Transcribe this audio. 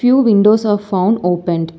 Few windows are found opened.